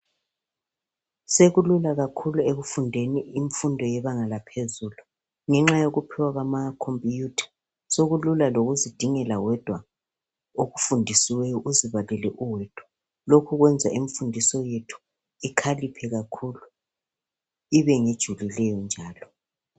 sekulula kakhulu ekufundeni imfundo yebanga laphezulu ngenxa yokuphiwa kwama computer sokulla lokuzidingela wedwa okufundisiweyo uzibalele uwedwa lokhu kwenza imfundiso yethu ikhaliphe kakhulu ibe ngejulileyo njalo